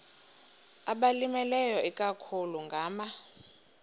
abalimileyo ikakhulu ngama